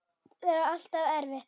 Það er alltaf erfitt.